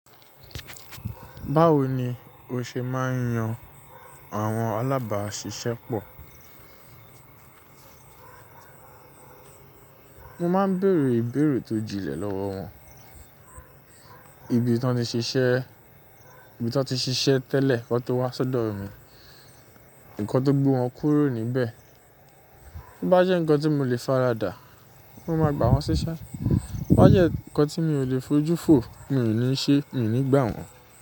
Báwo ni o ṣe máa ń yan àwọn alábáàṣiṣẹ́ pọ̀? Mo máa ń bèrè ìbéèrè tó jinlẹ̀ lọ́wọ́ wọn. Ibi tí wọ́n ti ṣiṣẹ́, ibi tí wọ́n ti ṣiṣẹ́ tẹ́lẹ̀ kí wọ́n tó wá sọ́dọ̀ mi, ǹkan tó gbó wọn kúrò níbẹ̀. Bo bá jẹ́ ǹkan tí mo lè faradà, mo máa gbà wọ́n síṣẹ́. Bo bá jẹ́ ǹkan tí mi ò lè fojú fo, mi ò ní ṣe, mi ò ní gbà wọ́n.